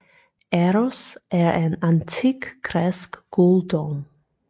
Eros er en antik græsk guddom